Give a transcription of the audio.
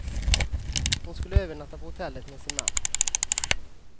Hon skulle övernatta på hotellet med sin man.